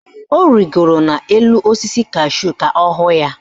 Ọ rigoro n'elu osisi kashúù ka ọ hụ ya.